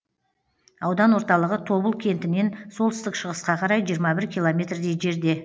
аудан орталығы тобыл кентінен солтүстік шығысқа қарай жиырма бір километрдей жерде